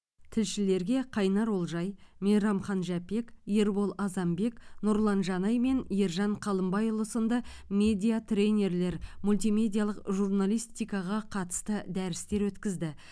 тілшілерге қайнар олжай мейрамхан жәпек ербол азанбек нұрлан жанай мен ержан қалымбайұлы сынды медиа тренерлер мультимедиалық журналистикаға қатысты дәрістер өткізді